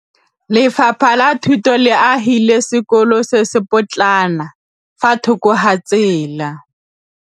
Lefapha la Thuto le agile sekôlô se se pôtlana fa thoko ga tsela.